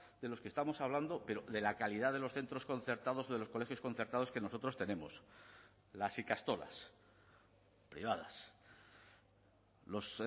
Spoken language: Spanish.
de los que estamos hablando pero de la calidad de los centros concertados de los colegios concertados que nosotros tenemos las ikastolas privadas los